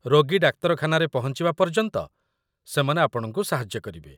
ରୋଗୀ ଡାକ୍ତରଖାନାରେ ପହଞ୍ଚିବା ପର୍ଯ୍ୟନ୍ତ ସେମାନେ ଆପଣଙ୍କୁ ସାହାଯ୍ୟ କରିବେ।